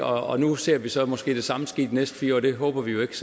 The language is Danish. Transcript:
og nu ser vi så måske det samme ske de næste fire år det håber vi jo ikke